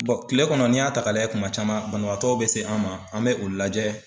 kile kɔnɔn n'i y'a ta ka lajɛ kuma caman banabagatɔw bɛ se an ma an mɛ u lajɛ.